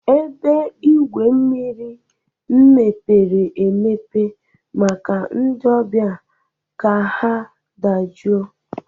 Ebe igwu mmiri mepere emepe maka ndị ọbịa ka ha dajụọ.